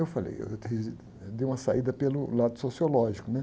Eu falei, eu dei, eu dei uma saída pelo lado sociológico, né?